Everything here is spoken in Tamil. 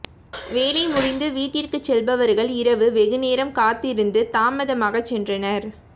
வேலை முடிந்து வீட்டிற்கு செல்பவர்கள் இரவு வெகுநேரம் காத்திருந்து தாமதமாக சென்றனர்